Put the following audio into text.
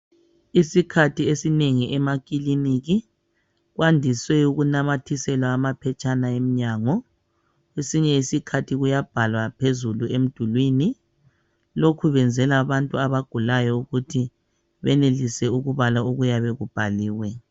Isikhathi esinengi emakiliniki kwandise kunamathiselwa amaphetshana emnyango kwesinye iskhathi Kuyabhalwa phezulu emdulini Lokhu kwenzelwa abantu abagulayo ukuthi benelise ukubala okuyabe kubhaliwe